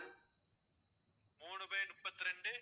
மூணு by முப்பத்திரெண்டு